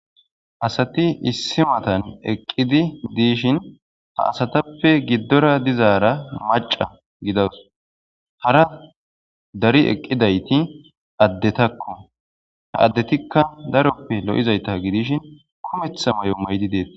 Asati issi matan eqqidi diishin ha asatappe giddora dizaara maca gidawusu. Hara dari eqqidayti addeta ha addetikka daroppe lo'izayta gidishin kumettaa may'o maydi deetees.